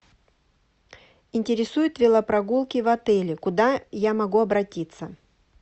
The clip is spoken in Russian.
интересуют велопрогулки в отеле куда я могу обратиться